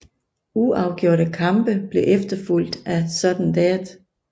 Uafgjorte kampe blev efterfulgt af sudden death